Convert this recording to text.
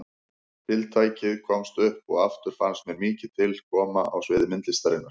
Tiltækið komst upp og aftur fannst mér mikið til mín koma á sviði myndlistarinnar.